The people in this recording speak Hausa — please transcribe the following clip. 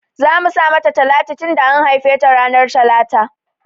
Zamu sa mata Talatu tunda an haife ta ranar talata